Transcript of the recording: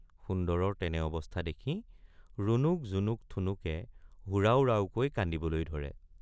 সুন্দৰৰ তেনে অৱস্থা দেখি ৰুণুক জুমুক ঠুনুকে হুৰাও ৰাওকৈ কান্দিবলৈ ধৰে।